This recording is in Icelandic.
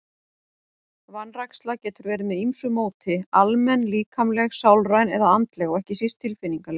Vanræksla getur verið með ýmsu móti, almenn, líkamleg, sálræn eða andleg og ekki síst tilfinningaleg.